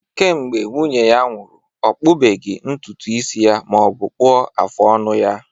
Kemgbe nwunye ya nwụrụ, ọ kpụbeghị ntutu isi ya ma ọ bụ kpụọ afụ ọnụ ya